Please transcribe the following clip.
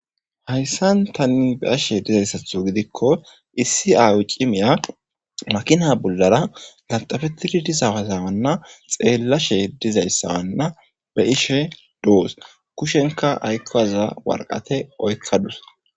hayssan tanni be ashe dizayssatho gidikko issi aawu cimiya makina bullara ganxafettidi disawazamanna xeellashe dizayssawanna be ishe doos kushenka aykkowaza warqate oykkadus